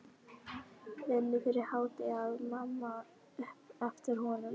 Vinnu fyrir hádegi, át mamma upp eftir honum.